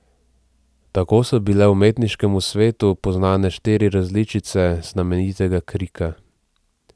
Tako so bile umetniškemu svetu poznane štiri različice znamenitega Krika.